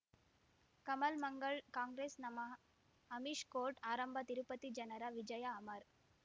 ಕಮಲ್ ಮಂಗಳ್ ಕಾಂಗ್ರೆಸ್ ನಮಃ ಅಮಿಷ್ ಕೋರ್ಟ್ ಆರಂಭ ತಿರುಪತಿ ಜನರ ವಿಜಯ ಅಮರ್